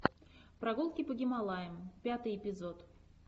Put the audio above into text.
прогулки по гималаям пятый эпизод